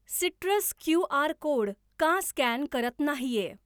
Citrus QR. Code का scan करत नाहीये?